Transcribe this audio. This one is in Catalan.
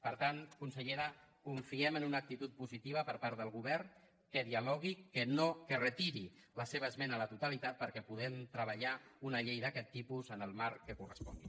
per tant consellera confiem en una actitud positiva per part del govern que dialogui que retiri la seva esmena a la totalitat perquè puguem treballar una llei d’aquest tipus en el marc que correspongui